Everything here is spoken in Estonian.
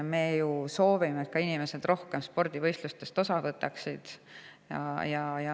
Me ju soovime, et inimesed rohkem spordivõistlustest osa võtaksid.